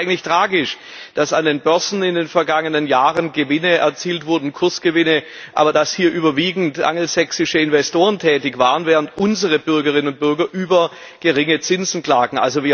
Das ist eigentlich tragisch, dass an den Börsen in den vergangenen Jahren Kursgewinne erzielt wurden, aber dass hier überwiegend angelsächsische Investoren tätig waren, während unsere Bürgerinnen und Bürger über geringe Zinsen klagen.